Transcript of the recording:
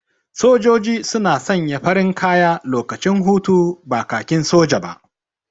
Sojoji suna sanya farin kaya lokacin hutu, ba kakin soja ba.